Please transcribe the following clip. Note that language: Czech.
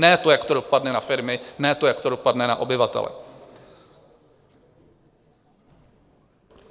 Ne to, jak to dopadne na firmy, ne to, jak to dopadne na obyvatele.